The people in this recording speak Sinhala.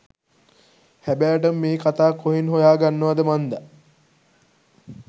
හැබෑටම මේ කතා කොහෙන් හොයා ගන්නවද මන්දා